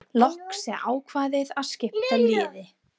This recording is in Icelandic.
Loks er ákveðið að skipta liði.